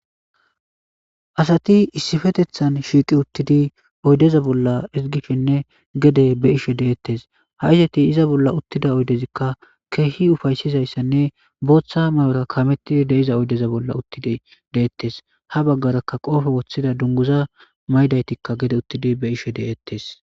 asati issifetethan shiiqi uttidi oydeza bolla iigishshenne gede be ishe deettes ha isati iza bolla uttida oydezikka keehi ufaysizayssanne booththa may7ora kamettid deiza oydeza bolla uttidi deettes ha baggarakka qoofo woththida dunguza maydaytikka gede uttidi be ishe deettes